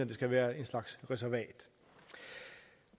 det skal være en slags reservat